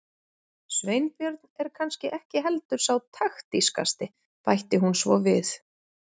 Sveinbjörn er kannski ekki heldur sá taktískasti- bætti hún svo við.